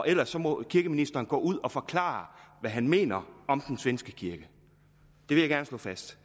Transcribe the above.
ellers må kirkeministeren gå ud og forklare hvad han mener om den svenske kirke det vil jeg gerne slå fast